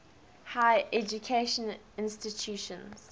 higher education institutions